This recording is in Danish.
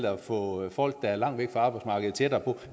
at få folk der er langt væk fra arbejdsmarkedet tættere på